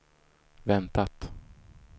väntat